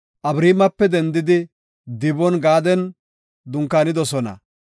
Abariimape dendidi Diboon-Gaadan dunkaanidosona.